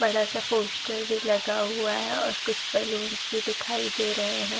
बड़ा सा पोस्टर भी लगा हुआ है और कुछ बलुन्स भी दिखाई दे रहे हैं।